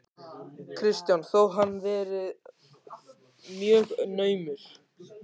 Kristján: Þó hann verið mjög naumur?